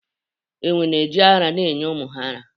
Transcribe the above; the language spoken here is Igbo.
Enwe na-eji ara na-enye ụmụ ha ara.